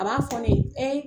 A m'a fɔ ne ye